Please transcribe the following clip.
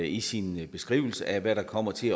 i sin beskrivelse af hvad der kommer til